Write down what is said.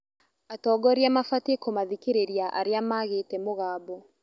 Atongoria mabatiĩ kũmathikĩrĩria arĩa maagĩte mũgambo.